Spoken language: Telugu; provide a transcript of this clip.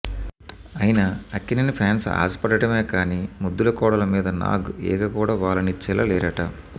అయినా అక్కినేని ఫాన్స్ ఆశ పడడమే కానీ ముద్దుల కోడలు మీద నాగ్ ఈగ కూడా వాలనిచ్చేలా లేరట